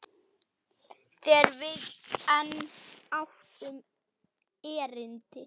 Þegar við enn áttum erindi.